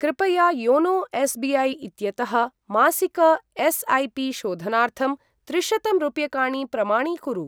कृपया YONO SBI. इत्यतः मासिक एस्.ऐ.पि. शोधनार्थं त्रिशतं रूप्यकाणि प्रमाणीकुरु।